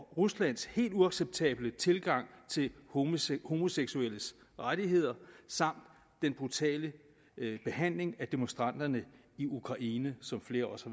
ruslands helt uacceptable tilgang til homoseksuelles rettigheder samt den brutale behandling af demonstranterne i ukraine som flere også